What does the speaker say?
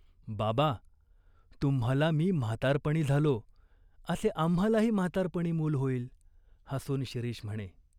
"बाबा, तुम्हाला मी म्हातारपणी झालो असे आम्हालाही म्हातारपणी मूल होईल !" हसून शिरीष म्हणे.